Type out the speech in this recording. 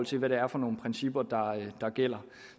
til hvad det er for nogle principper der gælder